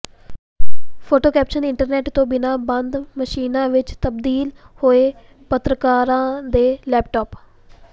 photo caption internet ਤੋਂ ਬਿਨਾਂ ਬੰਦ ਮਸ਼ੀਨਾਂ ਵਿੱਚ ਤਬਦੀਲ ਹੋਏ ਪੱਤਰਕਾਰਾਂ ਦੇ ਲੈਪਟਾਪ